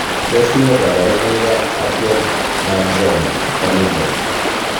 Tos nee koborunoikab Atrial myxoma, familial?